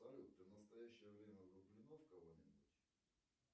салют ты в настоящее время влюблена в кого нибудь